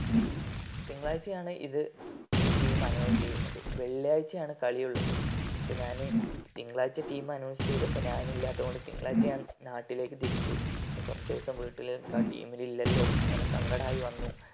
തിങ്കളാഴ്ചയാണ് ഇത് ഈ team announce ചെയ്യുന്നത് വെള്ളിയാഴ്ചയാണ് കലിയുള്ളത് തിങ്കളാഴ്ച team announce ചെയ്തപ്പോ ഞാൻ ഇല്ലാത്തോണ്ട് തിങ്കളാഴ്ച ഞാൻ നാട്ടിലേക്കു തിരിച്ചു കൊറച്ചു ദിവസം വീട്ടില് മിക്ക team ഇല്ലാലോ അങ്ങനെ സങ്കടായി വന്നു